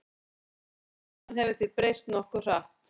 Réttarstaðan hefur því breyst nokkuð hratt.